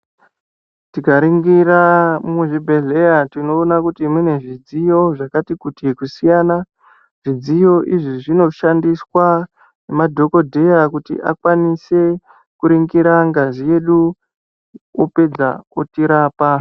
Tikaringira muzvibhehleya tinoona kuti mune zvidziyo zvakati kuti kusiyana. Zvidziyo izvi zvinoshandiswa nemadhogodheya kuti akwanise kuringira ngazi yedu, opedza otirapa.